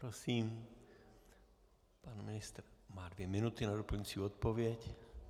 Prosím, pan ministr má dvě minuty na doplňující odpověď.